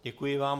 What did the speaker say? Děkuji vám.